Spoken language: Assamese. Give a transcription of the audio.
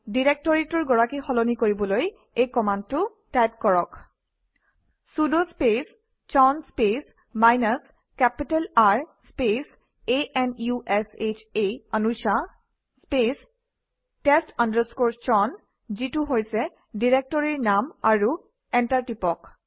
ডিৰেক্টৰীটোৰ গৰাকী সলনি কৰিবলৈ এই কমাণ্ডটো টাইপ কৰক sudo space chown space minus capital R space a n u s h a Anusha spacetest chown যিটো হৈছে ডিৰেক্টৰীৰ নাম আৰু এণ্টাৰ টিপক